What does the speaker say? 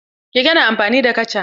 Keke na amfani da kaca.